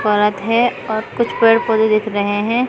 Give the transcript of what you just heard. औरत है और कुछ पेड़ पौधे दिख रहे है।